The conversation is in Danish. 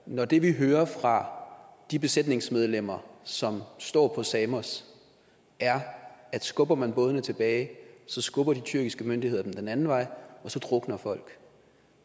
når det vi hører fra de besætningsmedlemmer som står på samos er at skubber man bådene tilbage så skubber de tyrkiske myndigheder dem den anden vej og så drukner folk